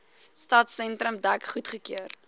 stadsentrum dek goedgekeur